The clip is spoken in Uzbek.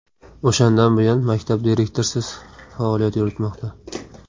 O‘shandan buyon maktab direktorsiz faoliyat yuritmoqda.